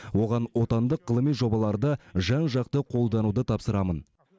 оған отандық ғылыми жобаларды жан жақты қолдануды тапсырамын